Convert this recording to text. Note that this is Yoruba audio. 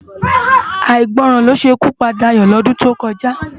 Áigbòrán ló sé ikú pá Dayo lòdún tókòjá